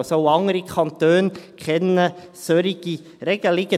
Also, auch andere Kanton kennen solche Regelungen.